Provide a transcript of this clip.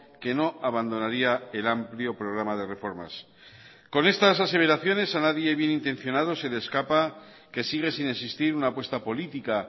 que no abandonaría el amplio programa de reformas con estas aseveraciones a nadie bien intencionado se le escapa que sigue sin existir una apuesta política